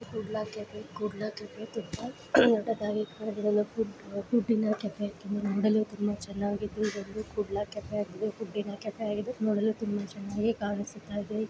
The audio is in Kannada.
ಕುಡ್ಲ ಕೆಫೆ ಕುಡ್ಲ ಕೆಫೆ ತುಂಬ ದೊಡ್ಡದಾಗಿದೆ. ಅದು ಪುಡಿನ ಕೆಫೆ ನೋಡಲು ತುಂಬ ಚೆನ್ನಗಿದೆ. ಇದೊಂದು ಕುಡ್ಲ ಕೆಫೆ ಪುಡಿನ ಕೆಫೆ ಆಗಿದೆ ನೋಡಲು ತುಂಬ ಚೆನ್ನಗಿ ಕಾಣ್ಸ್ತ ಇದೆ.